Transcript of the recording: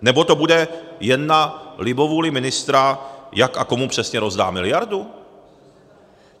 Nebo to bude jen na libovůli ministra, jak a komu přesně rozdá miliardu?